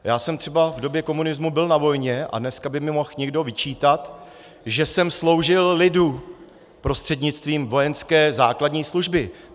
Já jsem třeba v době komunismu byl na vojně a dneska by mi mohl někdo vyčítat, že jsem sloužil lidu prostřednictvím vojenské základní služby.